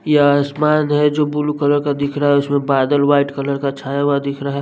ये आसमान है जो ब्लू कलर का दिख रहा है उसमें बादल वाइट कलर का छाया हुआ दिख रहा है।